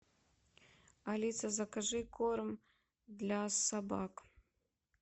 алиса закажи корм для собак